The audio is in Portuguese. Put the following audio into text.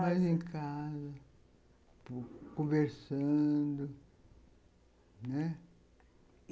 Mais em casa, conversando.